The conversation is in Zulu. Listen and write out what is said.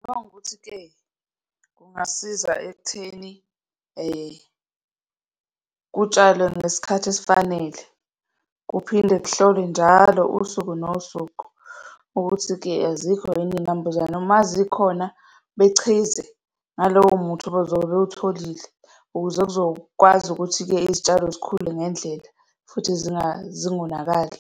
Uma kuwukuthi-ke kungasiza ekutheni kutshalwe ngesikhathi esifanele, kuphinde kuhlolwe njalo, usuku nosuku, ukuthi-ke azikho yini iy'nambuzane. Uma zikhona, bechize ngalowo muthi abezobe bewutholili ukuze kuzokwazi ukuthi-ke izitshalo zikhule ngendlela, futhi zingonakali.